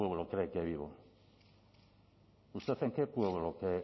pueblo cree que vivo usted en qué pueblo